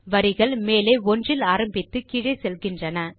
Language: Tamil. வரிகள் மேலே 1 இல் ஆரம்பித்து கீழே செல்கின்றன